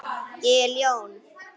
Ég er ljón.